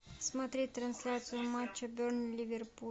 смотреть трансляцию матча бернли ливерпуль